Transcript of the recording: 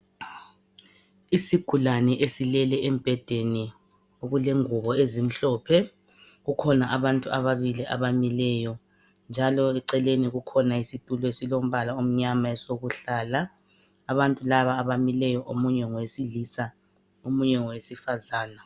Isigulane esilele embhedeni okule ngubo ezimhlophe, kukhona abantu ababili abamileyo, njalo eceleni kukhona isitulo esilombala omnyama esokuhlala. Abantu laba abamileyo omunye ngowesilisa omunye ngowesifazana.